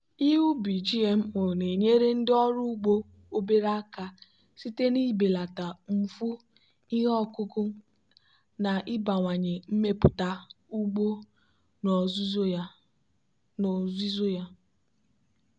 ihe ubi gmo na-enyere ndị ọrụ ugbo obere aka site n'ibelata mfu ihe ọkụkụ na ịbawanye mmepụta ugbo n'ozuzu ya.